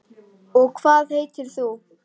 Og hvað heitir þú?